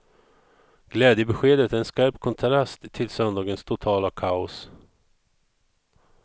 Glädjebeskedet är en skarp kontrast till söndagens totala kaos.